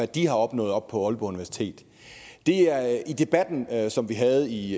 de har opnået oppe på aalborg universitet i debatten som vi havde i